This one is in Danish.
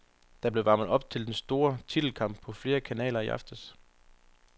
Der blev varmet op til den store titelkamp på flere kanaler i aftes.